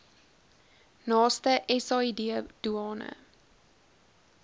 naaste said doeane